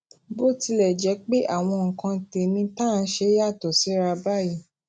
bó tilè jé pé àwọn nǹkan tèmí tá à ń ṣe yàtò síra báyìí